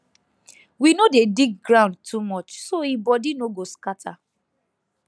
we no dey dig ground too much so e body no go scatter